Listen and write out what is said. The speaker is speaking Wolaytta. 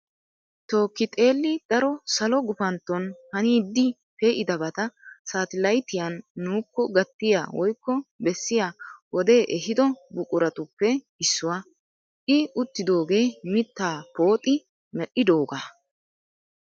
Tookki xelli daro salo gupantton haniiddi pee'idabata saatalayitiyan nuukko gattiya woyikko bessiya wodee ehido buquratuppe issuwa. I uttidoogee mittaa pooxi mel'idoogaa.